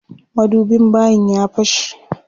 Madubin bayin ya fashe.